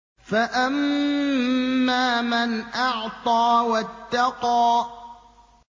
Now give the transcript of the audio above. فَأَمَّا مَنْ أَعْطَىٰ وَاتَّقَىٰ